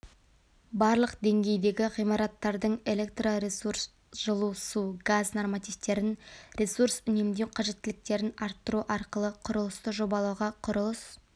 барлық деңгейдегі ғимараттардың элеторесурс жылу су газ нормативтерін ресурсүнемдеу қажеттіліктерін арттыру арқылы құрылысты жобалауға құрылыс